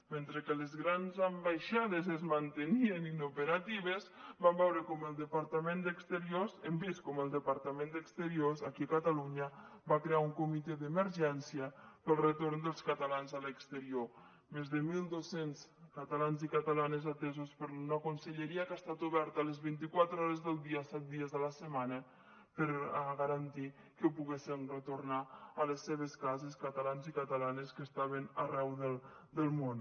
mentre que les grans ambaixades es mantenien inoperatives vam veure com el departament d’exterior hem vist com el departament d’exterior aquí a catalunya va crear un comitè d’emergència per al retorn dels catalans a l’exterior més de mil dos cents catalans i catalanes atesos per una conselleria que ha estat oberta les vinti quatre hores del dia set dies a la setmana per garantir que poguessen retornar a les seves cases catalans i catalanes que estaven arreu del món